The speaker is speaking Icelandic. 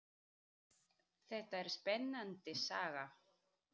Þetta er spennandi saga.